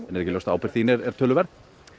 en er ekki ljóst að ábyrgð þín er töluverð